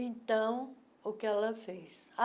Então, o que ela fez?